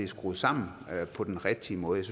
skruet sammen på den rigtige måde